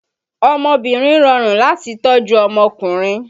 Ọmọbìnrin rọrùn láti tọ́ ju ọmọkùnrin